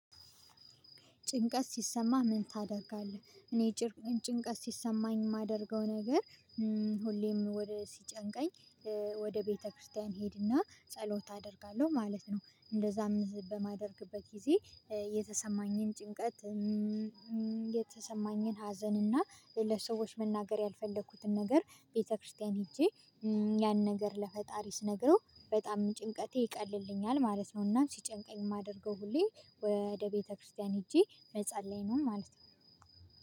ጭንቀት ሲሰማ ምን ታደርጋለህ? እኔ ጭንቀት ሲሰማኝ የማደርገው ነገር ሁሌም ወደ ሲጨንቀኝ ወደ ቤተክርስቲያን እሄድና ጸሎት አደርጋለሁ ማለት ነው። እንደዛም በማደርግበት ጊዜ የተሰማኝን ጭንቀት። የተሰማኝን ሀዘን እና ለሰዎች መናገር ያልፈለኩትን ነገር ቤተክርስቲያን ሄጄ ያን ነገር ለፈጣሪ ስነግረው በጣም ጭንቀቴ ይቀልልኛል። ማለት ነውና ሲጨንቀኝ የማደርገው ሁሌ ወደ ቤተክርስቲያን ሄጄ መጸለይ ነው ማለት ነው።